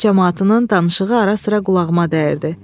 Kənd camaatının danışığı arasıra qulağıma dəyirdi.